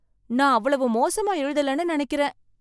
நான் அவ்வளவு மோசமா எழுதலன்னு நினைக்கறேன் .